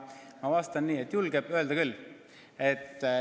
Ma vastan nii, et valitsus julgeb öelda küll.